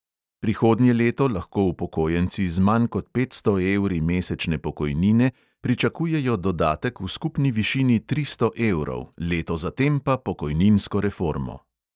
Prihodnje leto lahko upokojenci z manj kot petsto evri mesečne pokojnine pričakujejo dodatek v skupni višini tristo evrov, leto zatem pa pokojninsko reformo.